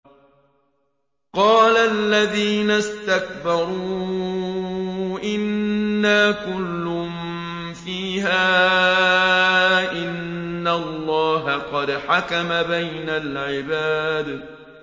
قَالَ الَّذِينَ اسْتَكْبَرُوا إِنَّا كُلٌّ فِيهَا إِنَّ اللَّهَ قَدْ حَكَمَ بَيْنَ الْعِبَادِ